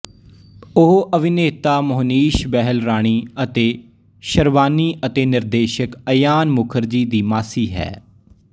ਉਹ ਅਭਿਨੇਤਾ ਮੋਹਨੀਸ਼ ਬਹਿਲ ਰਾਣੀ ਅਤੇ ਸ਼ਰਬਾਨੀ ਅਤੇ ਨਿਰਦੇਸ਼ਕ ਅਯਾਨ ਮੁਖਰਜੀ ਦੀ ਮਾਸੀ ਹੈ